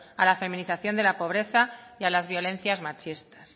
a la feminización de la pobreza y a las violencias machistas